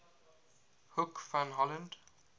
hoek van holland